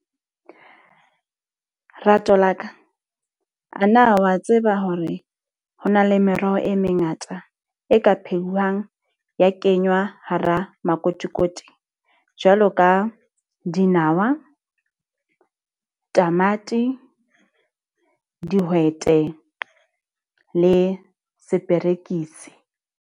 Rato la ka a na wa tseba hore ho na le meroho e mengata e ka phehiwang ya kengwa hara makotikoti? Jwalo ka dinawa, tamati, dihwete le se perekisi.